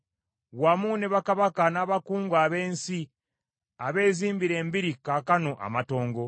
wamu ne bakabaka n’abakungu ab’ensi, abezimbira embiri kaakano amatongo,